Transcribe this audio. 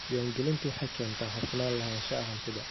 Diiwaangelintu waxay keentaa hufnaan lahaanshaha hantida.